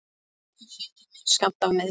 Ég hef fengið minn skammt af meiðslum.